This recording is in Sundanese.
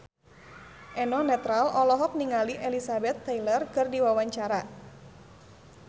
Eno Netral olohok ningali Elizabeth Taylor keur diwawancara